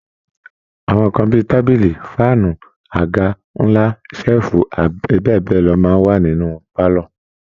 Àwọn nǹkan bí i tábìlì, fáànù, àga ńlá, ṣẹ́ẹ̀fù abbl máa ń wà nínú pálọ̀